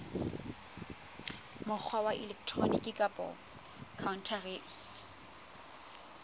mokgwa wa elektroniki kapa khaontareng